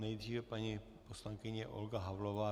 Nejdříve paní poslankyně Olga Havlová.